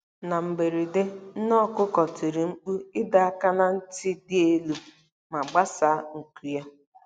Na mberede, nne okuko tiri mkpu ịdọ aka ná ntị dị elu ma gbasaa nku ya.